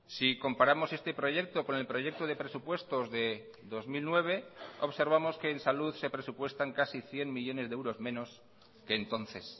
si comparamos este proyecto con el proyecto de presupuestos de dos mil nueve observamos que en salud se presupuestan casi cien millónes de euros menos que entonces